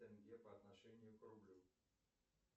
тенге по отношению к рублю